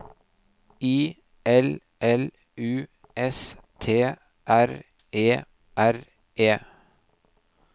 I L L U S T R E R E